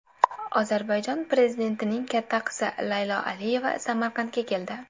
Ozarbayjon prezidentining katta qizi Laylo Aliyeva Samarqandga keldi .